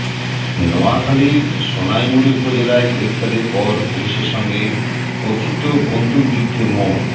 নোয়াখালীর সোনাইমুড়ি উপজেলায় গ্রেপ্তারের পর পুলিশের সঙ্গে কথিত বন্দুকযুদ্ধে মো